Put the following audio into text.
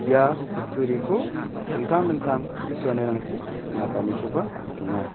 ia kutturiko dingtang dingtang teng·suanirangchi teng·atanikoba nikenga.